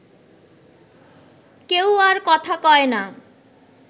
কেউ আর কথা কয় না